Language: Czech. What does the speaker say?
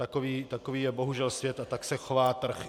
Takový je bohužel svět a tak se chová trh.